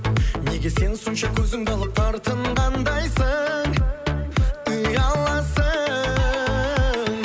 неге сен сонша көзіңді алып тартынғандайсың ұяласың